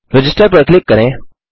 register पर click करें